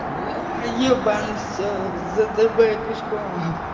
блять ебанный все зтб пешком